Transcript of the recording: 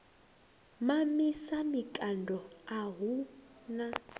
mamisa mikando a hu na